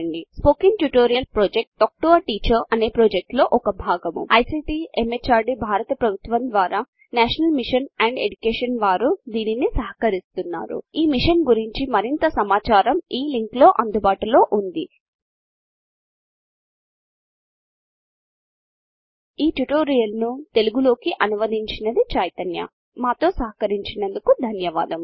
spoken tutorial project talk to a teacher లో ఒక భాగము ICT MHRDభారత ప్రభుత్వము ద్వారా నేషనల్ మిషన్ ఆన్ ఎడ్యుకేషన్ వారు దీనిని సహకరిస్తున్నారు ఈ మిషన్ గురించి మరింత సమాచారం ఇక్కడ అందుబాటులో ఉంది spoken tutorial dot org NMEICT hyphen intro tutorial Telugu లోకి అనువదించింది చైతన్య చేరినందుకు ధన్యవాదములు